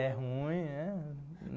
É ruim, né?